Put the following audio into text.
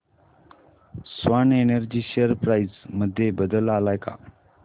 Swan energy share price मध्ये बदल आलाय का